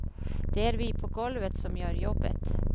Det är vi på golvet som gör jobbet.